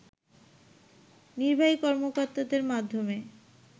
নির্বাহী কর্মকর্তাদের মাধ্যমে